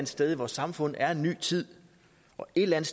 sted i vores samfund er en ny tid og et eller